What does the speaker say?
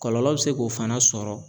Kɔlɔlɔ be se k'o fana sɔrɔ